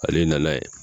Ale nana ye